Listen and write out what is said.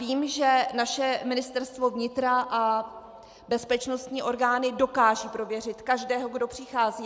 Vím, že naše Ministerstvo vnitra a bezpečnostní orgány dokážou prověřit každého, kdo přichází.